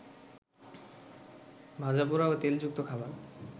ভাজাপোড়া ও তেলযুক্ত খাবার